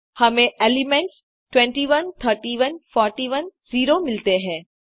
हमें एलिमेंट्स 21 31 41 0 मिलते हैं